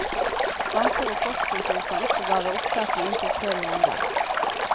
Banker og postkontor kan oppbevare opptak i inntil tre måneder.